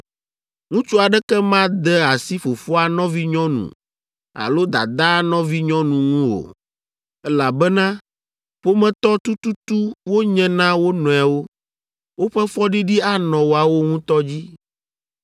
“ ‘Ŋutsu aɖeke made asi fofoa nɔvinyɔnu alo dadaa nɔvinyɔnu ŋu o, elabena ƒometɔ tututu wonye na wo nɔewo. Woƒe fɔɖiɖi anɔ woawo ŋutɔ dzi.